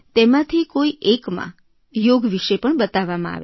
તેમાંથી કોઇ એક એકમાં યોગ વિષે પણ બતાવવામાં આવે